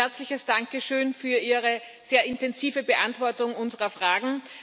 Ein herzliches Danke schön für Ihre sehr intensive Beantwortung unserer Fragen.